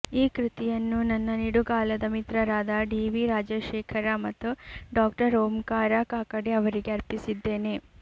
ಈ ಕೃತಿಯನ್ನು ನನ್ನ ನಿಡುಗಾಲದ ಮಿತ್ರರಾದ ಡಿ ವಿ ರಾಜಶೇಖರ ಮತ್ತು ಡಾ ಓಂಕಾರ ಕಾಕಡೆ ಅವರಿಗೆ ಅರ್ಪಿಸಿದ್ದೇನೆ